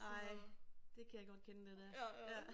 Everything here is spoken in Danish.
Ej det kan jeg godt kende det der ja